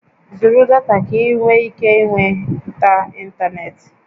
Zụrụ data ka ị nwee ike ịnweta ịntanetị!